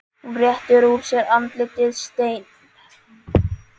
Hún réttir úr sér, andlitið steinn.